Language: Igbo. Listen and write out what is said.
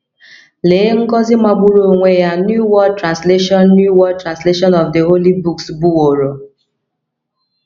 Lee ngọzi magburu onwe ya New World Translation New World Translation of the Holy books bụworo!